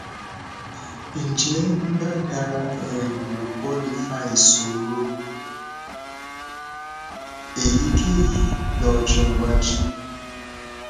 ǹjẹ nbani ara um lopo le fa ìṣòro èyíkéyìí lọjọ iwájú